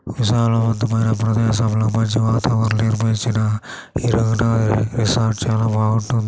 వీసాల వంతమైన ప్రదేశం లో మంచి వాతావరణం రిసార్ట్ చాల బాగుంటుంది.